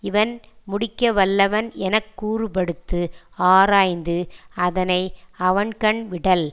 இவன் முடிக்கவல்லவன் எனக்கூறுபடுத்து ஆராய்ந்து அதனை அவன்கண் விடல்